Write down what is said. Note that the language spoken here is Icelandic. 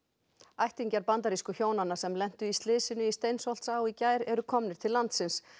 ættingjar bandarísku hjónanna sem lentu í slysinu í Steinsholtsá í gær eru komnir til landsins